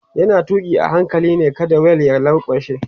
yana tuki a hankali ne kada wheel ya lankwashe